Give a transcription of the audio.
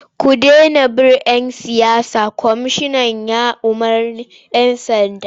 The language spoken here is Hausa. Ku dena bin ‘yan siyasa! Kwamishinan ya umarci 'yan sanda.